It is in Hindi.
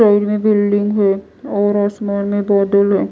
साइड में बिल्डिंग है और आसमान में बादल है।